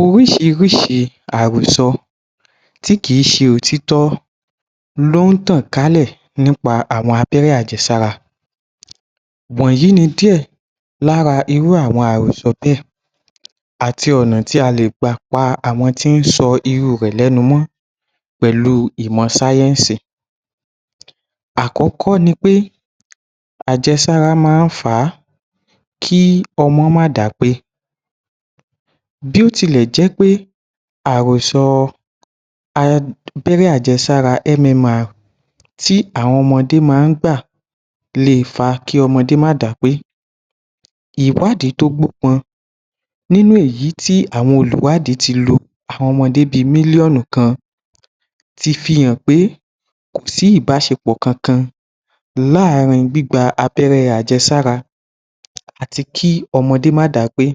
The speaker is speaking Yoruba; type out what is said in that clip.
Oríṣiríṣi àròsọ tí kì í ṣe òtítọ́ ló ń tàn kálẹ̀ nípa àwọn abẹ́rẹ́-àjẹsára, wọ̀nyí ni díẹ̀ lára irú àwọn àròsọ bẹ́ẹ̀, àti ọ̀nà tí a lè gbà pa àwọn tí ń sọ irú u rẹ̀ lẹ́nú mọ́ pẹ̀lú ìmọ̀ sáyẹ́ǹsì. Àkọ́kọ́ ni pé, àjẹsára máa ń fà á kí ọmọ má dápé, bí ó tilẹ̀ jẹ́ pé àròsọ abẹ́rẹ́ àjẹsára MAI tí àwọn ọmọdé máa ń gbà le è fa kí ọmọdé má dápé, ìwádìí tó gbé nínú èyí tí àwọn olùwádìí ti lò, àwọn ọmọdé bí mílíọ̀nù kan ti fi hàn pé kò sí ìbáṣepọ̀ kankan láàárìn gbígba abẹ́rẹ́ àjẹsára àti kí ọmọdé má dápé